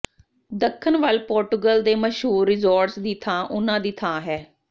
ਦੱਖਣ ਵੱਲ ਪੋਰਟੁਗਲ ਦੇ ਮਸ਼ਹੂਰ ਰਿਜ਼ੋਰਟਜ਼ ਦੀ ਥਾਂ ਉਹਨਾਂ ਦੀ ਥਾਂ ਹੈ